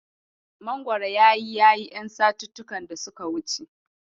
Mangoro ya yi yayi ƴan satuttuka da suka wuce.